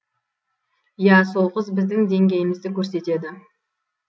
иә сол қыз біздің деңгейімізді көрсетеді